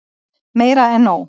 Meira en nóg.